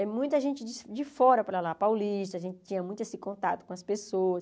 É muita gente de fora para lá, paulista, a gente tinha muito esse contato com as pessoas.